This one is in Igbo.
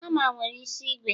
hama nwere isi ígwè